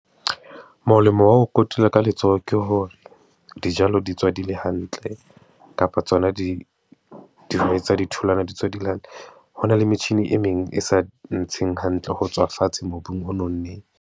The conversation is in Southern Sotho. Molemo wa ho kotula ka letsoho ke hore dijalo di tswa di le hantle, kapa tsona di tsa di tholwana di tswa di le hantle. Ho na le metjhini e meng e sa ntsheng hantle ho tswa fatshe mobung o nonneng.